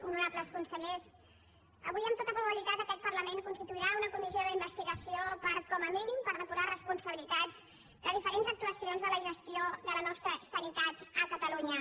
honorables consellers avui amb tota probabilitat aquest parlament constituirà una comissió d’investigació per com a mínim depurar responsabilitats de diferents actuacions de la gestió de la nostra sanitat a catalunya